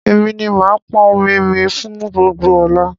Èmi ni màá pọn omi mi fún gbogbo ọ̀la